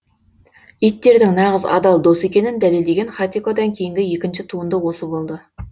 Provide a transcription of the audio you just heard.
иттердің нағыз адал дос екенін дәлелдеген хатикодан кейінгі екінші туынды осы болды